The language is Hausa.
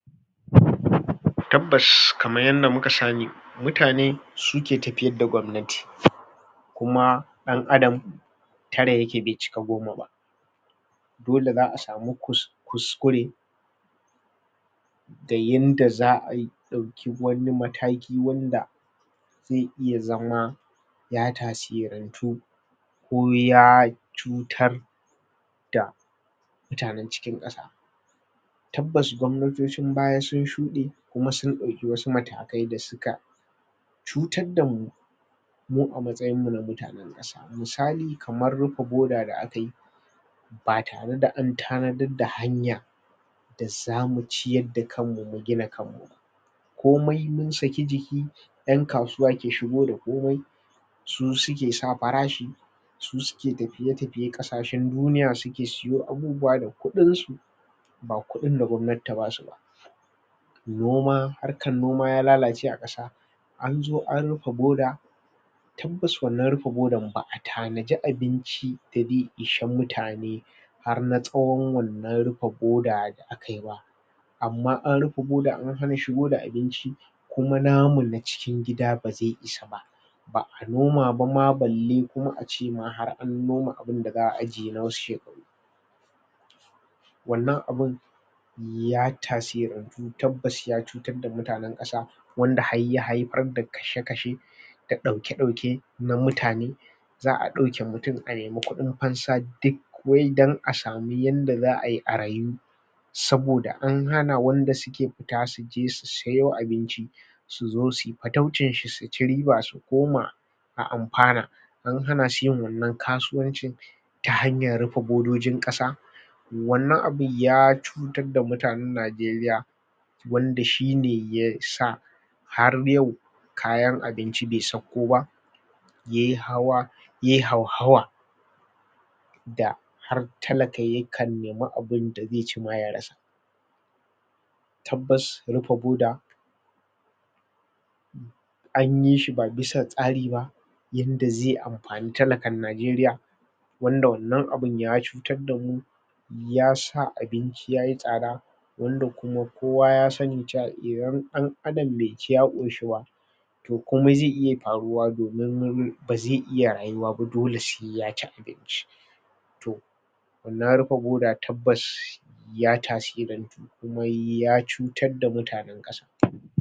Um tabbas kamar yadda mika sani mutane suke tafiyar da gabnati kuma dan adam tara yake be cika goma ba dole za'a samu kus kuskure da yadda za'a yi a dauki wani mataki wanda ze iya zama ya tasirantu ko ya cutar da mutanen cikin kasa tabbas gwabnatocin baya sun shude kuma sun dauki wasu matakai da suka cutar damu mu a matsayin mu na mutanen kasa misali kamar rufe borda da akayi ba tare da tanarda hanya da zamu ciyar da kanmu mu gina kanmu ba komai mun saki jiki yan kasuwa ke shigo da kome su suke sa farashi su suke tafiye-tafiye kasashe duniya suke suyo abubuwa da kudin su ba kudin da gwamnati ta basu ba noma harkan noma ya lalace a kasa anzo an rufe boda tabbas wannan rufe bodan ba'a tanaji abinci da ishe mutane har na tsawon wannan rufe bida da akayi ba amma anrufe boda an hana shigo da abinci kuma namu na cikin gida ba ze isa ba ba'a noma ba ma balle kuma ace ma har an noma abun da za'a ajiye nawasu shekaru wannan abun ya tasirantu tabbas ya cutar da mutanen kasa wanda har ya haifar da kashe-kashe da dauke-daike na mutane za;a dauke mutum anemi kudin fansa duk wai dan asamu yadda za'ayi a rayu saboda an hana wanda suke suke futa suje su siyo abinci suzo suyi fataucin shi suci riba sukoma a amfana an hanasu yin wannan kasuwancin ta hanya rufe bodojin kasa wannan abun ya cutar da mutanen nageriya wanda shine yasa har yau kayan abinci be sauko ba ye hawa yai hauhawa da har talaka yakan nemi abun da zeci ma yarasa tabbas rufe boda anyishi ba bisa tsari ba yanda ze anfani talakan nageriya wanda wannan abun ya cutar damu yasa abinci yayi tsada wanda kuma kowa yasani cewa idan dan adam be ci ya koshi ba to komai ze iya faruwa domin neman baze iya rayuwa ba dole se yaci abinci to wannan rufe boda tabbas ya tasirantu kuma ya cutarda mutanen kasa